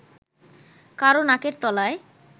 কারও নাকের তলায়